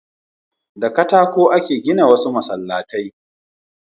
Da katako a ke gina wasu masallaci